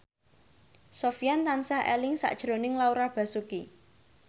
Sofyan tansah eling sakjroning Laura Basuki